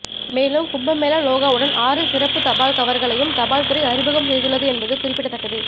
மேலும் கும்பமேளா லோகோவுடன் ஆறு சிறப்பு தபால் கவர்களையும் தபால்துறை அறிமுகம் செய்துள்ளது என்பது குறிப்பிடத்தக்கது